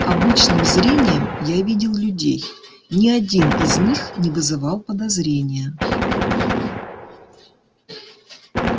обычным зрением я видел людей ни один из них не вызывал подозрения